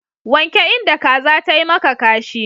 Wanke inda kaza tayi maka kashi.